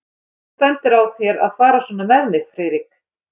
Hvernig stendur á þér að fara svona með mig, Friðrik?